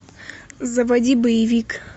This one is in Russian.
заводи боевик